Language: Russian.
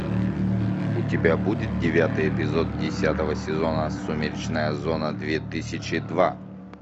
у тебя будет девятый эпизод десятого сезона сумеречная зона две тысячи два